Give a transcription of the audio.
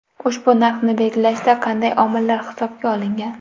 Ushbu narxni belgilashda qanday omillar hisobga olingan?